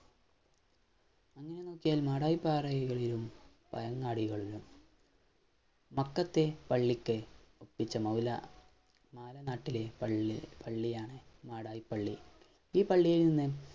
അങ്ങനെ നോക്കിയാൽ മാടായിപ്പറയുടെയും പയങ്ങാടി കഴിഞ്ഞും മത്തത്തെ പള്ളിക്കെ ഒപ്പിച്ച മഹിളാ ഞാളെ നാട്ടിലെ പള്ളി പള്ളിയാണ് മാടായി പള്ളി ഈ പള്ളിയിൽ നിന്നും